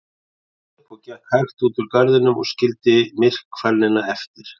Svo stóð ég upp og gekk hægt út úr garðinum og skildi myrkfælnina eftir.